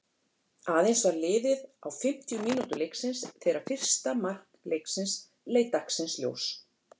Aðeins var liðið á fimmtu mínútu leiksins þegar fyrsta mark leiksins leit dagsins ljós.